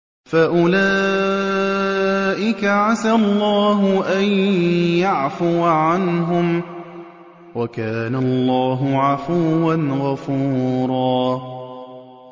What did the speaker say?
فَأُولَٰئِكَ عَسَى اللَّهُ أَن يَعْفُوَ عَنْهُمْ ۚ وَكَانَ اللَّهُ عَفُوًّا غَفُورًا